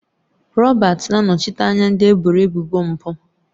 Robert na-anọchite anya ndị eboro ebubo mpụ.